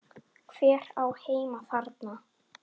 Hver á heima þarna?